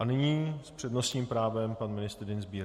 A nyní s přednostním právem pan ministr Dienstbier.